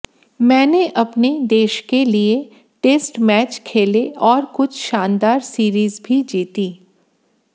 मैंने अपने देश के लिए टेस्ट मैच खेले और कुछ शानदार सीरीज भी जीतीं